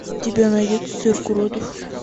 у тебя найдется цирк уродов